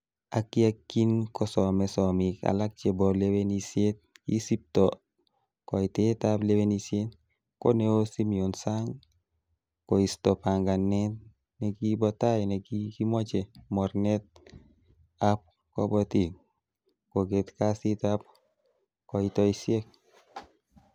Ak ye kinkosome somik alak chebo lewenisiet kisipto koitetab lewenisiet, ko neo Simion Sang koisto panganet nekibo tai nekikimoche mornetab kiboitinik koget kasitab koitosiek.